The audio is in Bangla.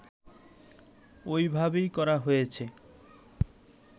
ওইভাবে করা হয়েছে